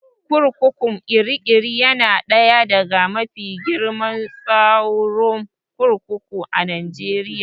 Kurkukun Kirikiri yana ɗaya daga mafi girman tsaron kurkuku a Najeriya